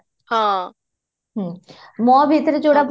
ହଁ, ହୁଁ ମୋ ଭିତରେ ଯଉଟା ଭଲ